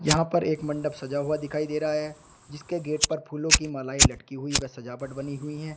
यहां पर एक मंडप सजा हुआ दिखाई दे रहा है जिसके गेट पर फूलों की मालाएं लटकी हुई व सजावट बनी हुई है।